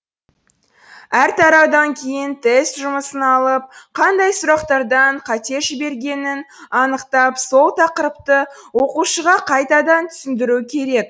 әр тараудан кейін тест жұмысын алып қандай сұрақтардан қате жібергенін анықтап сол тақырыпты оқушыға қайтадан түсіндіру керек